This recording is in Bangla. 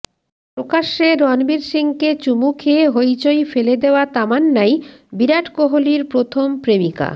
প্রকাশ্যে রণবীর সিংকে চুমু খেয়ে হইচই ফেলা দেওয়া তামান্নাই বিরাট কোহলির প্রথম প্রেমিকা